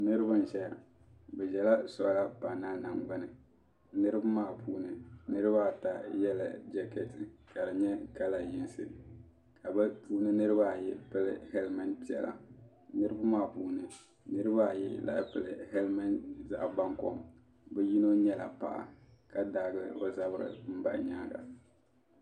Niribi n ʒeya bɛ ʒela soola paanalinim gbuni niribi maa puuni niribaata yela jakeeti ka di nye kala yiŋsi ka bi puuni niribaayi pili heliment piɛla niribi maa puuni niribaayi lahi pili heliment zaɣbankom bi yino nyela paɣa ka daai bɛ zabiri n bahi nyaaŋa.